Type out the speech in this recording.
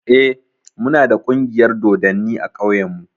Eh, mu na da ƙungiyar dodanni a ƙauyen mu